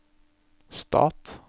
stat